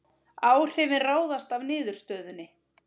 Áhrifin ráðast af niðurstöðunni